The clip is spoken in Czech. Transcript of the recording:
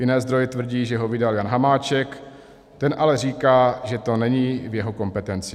Jiné zdroje tvrdí, že ho vydal Jan Hamáček, ten ale říká, že to není v jeho kompetenci.